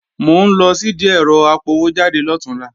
Mò ń lọ sìdí ẹ̀rọ apọwójáde lọ̀túnla